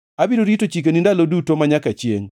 Abiro rito chikeni ndalo duto, manyaka chiengʼ.